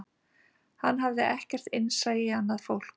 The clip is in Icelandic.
Hann hafði ekkert innsæi í annað fólk